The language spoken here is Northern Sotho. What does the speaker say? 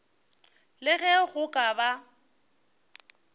le ge go ka ba